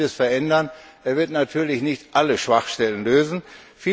Er wird vieles verändern, er wird natürlich nicht alle Schwachstellen beheben.